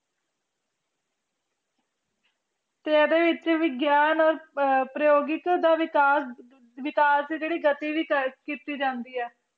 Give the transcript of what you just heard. ਤੇ ਇਹਦੇ ਵਿਚ ਵਿਗਿਆਨ or ਪ੍ਰਜੋਗਿਕ ਦਾ ਵਿਕਾਸ ਵਿਕਾਸ ਦੀ ਜਿਹੜੀ ਗਤੀ ਦੀ ਤਰਜ ਕੀਤੀ ਜਾਂਦੇ ਐ